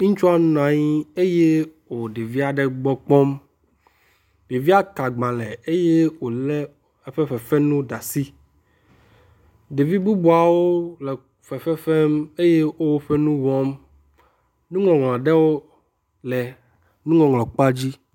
Nuŋɔŋlɔ kpea dzi, ŋutsua nɔ anyi eye wò ɖevia ɖe gbɔ kpɔm. Ɖevia ke aagbalẽ eye wòlé eƒe fefenuwo ɖe asi. Ɖevi bubuawo le fefe fem eye wo woƒe nuwo wɔm. NuŋɔŋLɔ aɖewo le nuŋɔŋlɔ kpea dzi.